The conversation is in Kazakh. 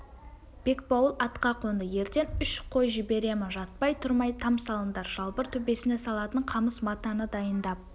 бекбауыл атқа қонды ертең үш қой жіберемін жатпай-тұрмай там салыңдар жалбыр төбесіне салатын қамыс матаны дайындап